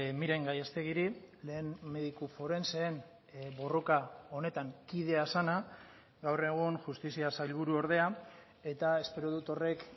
miren gallastegiri lehen mediku forenseen borroka honetan kidea zena gaur egun justizia sailburu ordea eta espero dut horrek